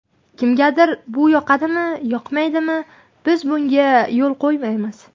Kimgadir bu yoqadimi, yoqmaydimi, biz bunga yo‘l qo‘ymaymiz.